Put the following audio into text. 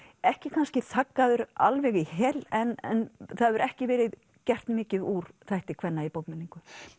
ekki kannski alveg í hel en það hefur ekki verið gert mikið úr þætti kvenna í bókmenningu